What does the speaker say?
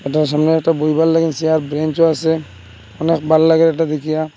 এটার সামনে বইবার লগেন চেয়ার ব্রেঞ্চও আছে অনেক ভাল লাগে এটা দেখিয়া।